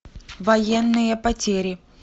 военные потери